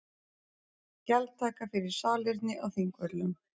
Gjaldtaka fyrir salerni á Þingvöllum